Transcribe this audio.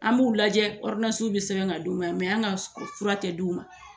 An b'u lajɛ bi sɛbɛn ka d'u ma an ga fura tɛ d'u ma.